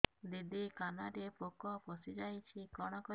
ଦିଦି କାନରେ ପୋକ ପଶିଯାଇଛି କଣ କରିଵି